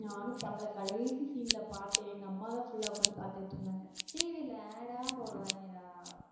நானும் பாக்கல, கடைசி scene ல பார்த்தேன். எங்க அம்மாதான் full ஆ உட்கார்ந்து பார்த்துக்கிட்டிருந்தாங்க. TV ல ad ஆ போடுவாங்கடா.